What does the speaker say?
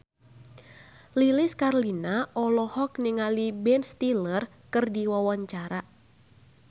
Lilis Karlina olohok ningali Ben Stiller keur diwawancara